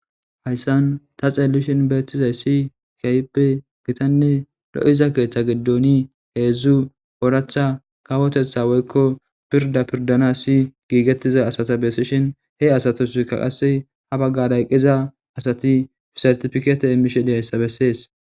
Hayssan ta xeelishin beettizay si kayppe gitanne lo'iza keeththa giddoni heedzdzu ooratha kawotetha woykko pirda pirdan si giigettiza asata bessishin he asatuskaqase ha baggaday qiza asati sertifikeete emmishe diyayssa bessees.